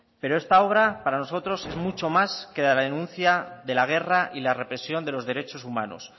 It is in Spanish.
pero esta obra para nosotros es mucho más que la denuncia de la guerra y la represión de los derechos humanos